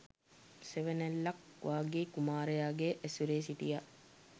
සෙවනැල්ලක් වගේ කුමාරයාගේ ඇසුරේ සිටියා.